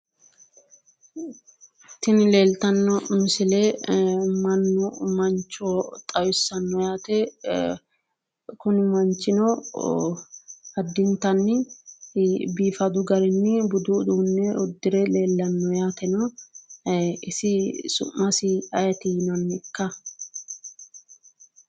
Tini leelitano misile mancho xawisano yaate, Kuni manchino addintani biifadu garini budu uduune udire leelano yaate Kone mancho su'masi ayiit yinayika?